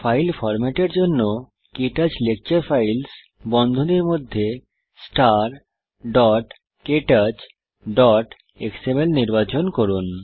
file ফরম্যাটের জন্য ক্টাচ লেকচার ফাইলস বন্ধনীর মধ্যে starktouchএক্সএমএল নির্বাচন করুন